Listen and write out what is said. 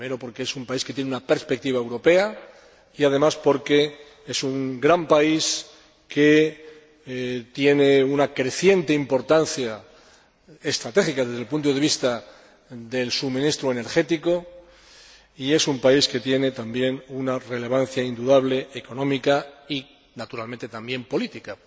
Primero, porque es un país que tiene una perspectiva europea y, además, porque es un gran país que tiene una creciente importancia estratégica desde el punto de vista del suministro energético y es un país también con una relevancia indudable económica y, naturalmente, también política.